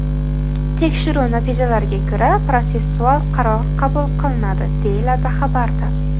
Tekshiruv natijalariga ko‘ra protsessual qaror qabul qilinadi”, deyiladi xabarda.